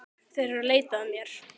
Þeir eru að leita að mér